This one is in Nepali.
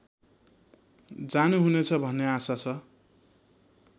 जानुहुनेछ भन्ने आशा छ